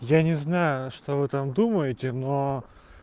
я не знаю что вы там думаете но